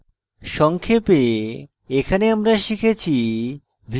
সংক্ষেপে এখানে আমরা শিখেছি